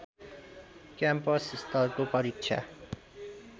campus स्तरको परीक्षा